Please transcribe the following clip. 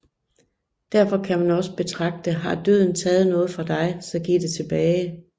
Derfor kan man også betragte Har døden taget noget fra dig så giv det tilbage